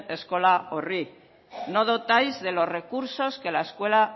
eskola horri no dotáis de los recursos que la escuela